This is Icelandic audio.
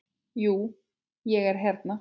Jú, ég hérna.